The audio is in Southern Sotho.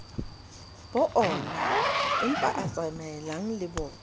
bo oonaempa a tsamaellanang le